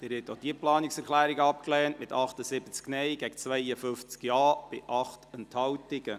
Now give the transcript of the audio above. Sie haben auch diese Planungserklärung abgelehnt, mit 78 Nein- gegen 52 Ja-Stimmen bei 8 Enthaltungen.